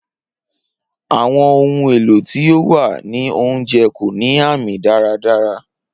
Awọn ohun elo ti o wa ni ounjẹ ko ni aami daradara.